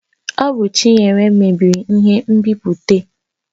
Ọ bụ Chinenye mebiri ihe nbipute